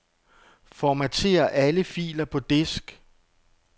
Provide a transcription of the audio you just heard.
Formater alle filer på disk.